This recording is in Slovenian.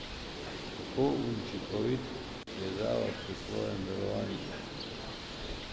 Kako učinkovit je zavod pri svojem delovanju?